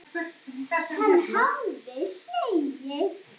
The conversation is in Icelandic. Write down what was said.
Hann hafði hlegið.